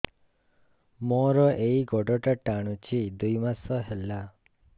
ମୋର ଏଇ ଗୋଡ଼ଟା ଟାଣୁଛି ଦୁଇ ମାସ ହେଲା